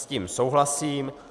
S tím souhlasím.